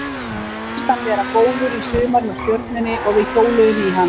Mér fannst hann vera góður í sumar hjá Stjörnunni og við hjóluðum í hann.